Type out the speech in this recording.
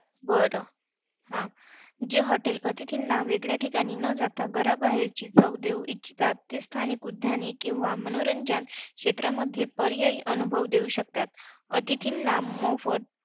बरं हा. जे hotels अतिथींना वेगळ्या ठिकाणी न जाता घराबाहेरची चव देऊ इच्छितात, ती स्थानिक उद्याने किंवा मनोरंजन क्षेत्रातील पर्यायी अनुभव देऊ शकतात. अतिथींना मोफत